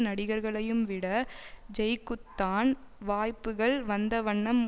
நடிகர்களையும்விட ஜெய்க்குத்தான் வாய்ப்புகள் வந்தவண்ணம்